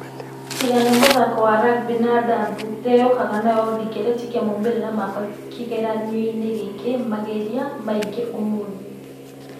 Tiga nĩ mũthako wa rugby na adabu ĩrĩa yũkaga nayo ndĩretekia maumerera makwa kĩgĩranio-inĩ gĩkĩ magearĩ mangĩ ũmũthĩ.